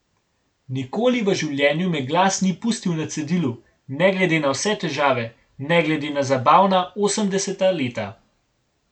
Nikoli v življenju me glas ni pustil na cedilu, ne glede na vse težave, ne glede na zabavna osemdeseta leta.